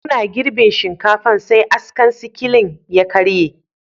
Muna girbin shinkafan, sai askan sikilan ya karye.